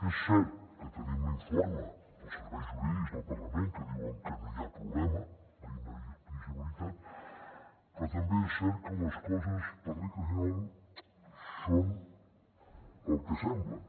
és cert que tenim l’informe dels serveis jurídics del parlament que diuen que no hi ha problema d’inelegibilitat però també és cert que les coses per regla general són el que semblen